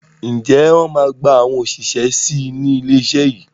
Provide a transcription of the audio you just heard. Ǹjẹ́ wọn máa gba àwọn òṣìṣẹ́ síí ni ilé iṣẹ́ yìí?